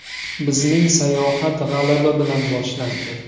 Bizning sayohat g‘alaba bilan boshlandi.